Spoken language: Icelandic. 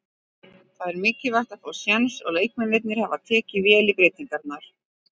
Það er mikilvægt að fá séns og leikmennirnir hafa tekið vel í breytingarnar.